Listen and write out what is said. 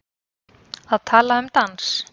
Að tala um dans